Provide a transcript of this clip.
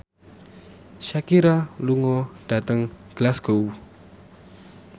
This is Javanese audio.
Shakira lunga dhateng Glasgow